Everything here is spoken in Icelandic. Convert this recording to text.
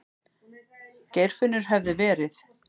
Geirfinnur hefði verið.